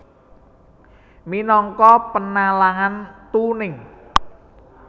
Minangka penalaan tuning